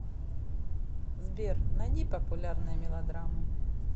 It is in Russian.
сбер найди популярные мелодрамы